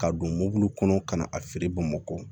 Ka don mɔbili kɔnɔ ka na a feere bamakɔ